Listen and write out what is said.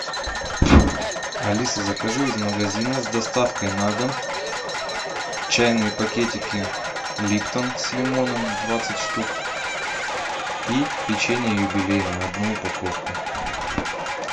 алиса закажи из магазина с доставкой на дом чайные пакетики липтон с лимоном двадцать штук и печенье юбилейное одну упаковку